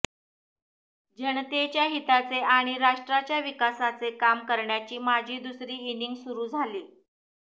जनतेच्या हिताचे आणि राष्ट्राच्या विकासाचे काम करण्याची माझी दुसरी इनिंग सुरू झाली